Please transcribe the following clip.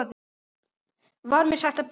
Var mér sagt að bíða.